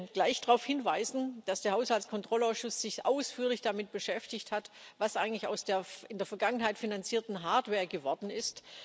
Ich möchte gleich darauf hinweisen, dass sich der Haushaltskontrollausschuss ausführlich damit beschäftigt hat, was eigentlich aus der in der Vergangenheit finanzierten Hardware geworden ist.